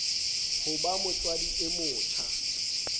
ho ba motswadi e motjha